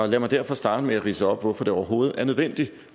lad mig derfor starte med at ridse op hvorfor det overhovedet er nødvendigt